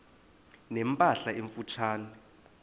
ne mpahla emfutshane